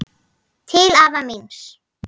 Til afa míns.